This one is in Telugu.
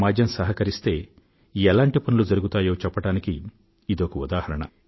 సమాజం సహకరిస్తే ఎలాంటి పనులు జరుగుతాయో చెప్పడానికి ఇదొక ఉదాహరణ